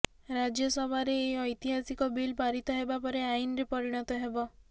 ରାଜ୍ୟସଭାରେ ଏହି ଐତିହାସିକ ବିଲ୍ ପାରିତ ହେବା ପରେ ଆଇନରେ ପରିଣତ ହେବ